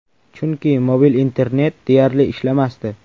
Chunki mobil internet deyarli ishlamasdi.